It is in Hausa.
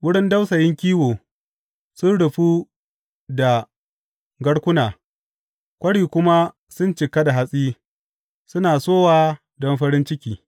Wurin dausayin kiwo sun rufu da garkuna kwari kuma sun cika da hatsi; suna sowa don farin ciki.